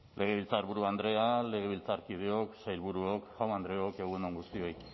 legebiltzarburu andrea legebiltzarkideok sailburuok jaun andreok egun on guztioi